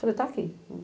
Falei, está aqui.